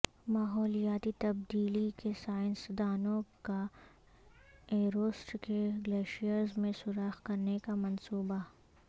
ماحولیاتی تبدیلی کے سائنسدانوں کا ایورسٹ کے گلیشیئرز میں سوراخ کرنے کا منصوبہ